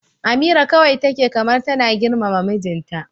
Amira kawai take kamar tana girmama mijinta.